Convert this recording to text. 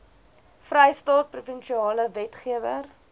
vrystaat provinsiale wetgewer